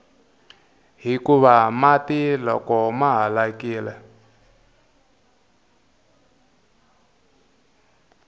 hikuva mati loko ma halakile